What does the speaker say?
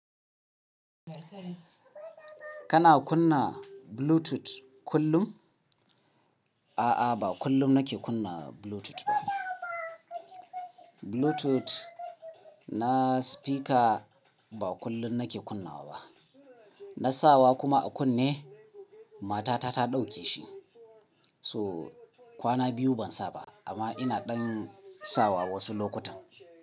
Kana kunna Bluetooth kullum? A'a, ba kullum nake kunna Bluetooth ba. Bluetooth na spika ba kullum nake kunna wa ba. Na sawa kuma a kunne, matata ta ɗauke shi. So kwana biyu ban sa ba amma ina ɗan sawa wasu lokutan.